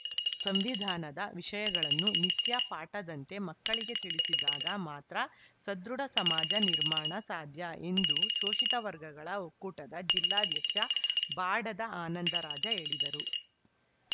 ಸಂವಿಧಾನದ ವಿಷಯಗಳನ್ನು ನಿತ್ಯ ಪಾಠದಂತೆ ಮಕ್ಕಳಿಗೆ ತಿಳಿಸಿದಾಗ ಮಾತ್ರ ಸದೃಢ ಸಮಾಜ ನಿರ್ಮಾಣ ಸಾಧ್ಯ ಎಂದು ಶೋಷಿತ ವರ್ಗಗಳ ಒಕ್ಕೂಟದ ಜಿಲ್ಲಾಧ್ಯಕ್ಷ ಬಾಡದ ಆನಂದರಾಜ ಹೇಳಿದರು